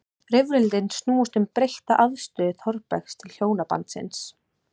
Rifrildin snúast um breytta afstöðu Þórbergs til hjónabandsins.